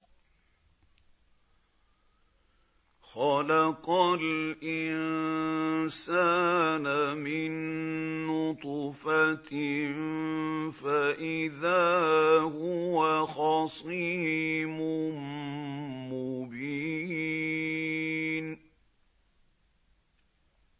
خَلَقَ الْإِنسَانَ مِن نُّطْفَةٍ فَإِذَا هُوَ خَصِيمٌ مُّبِينٌ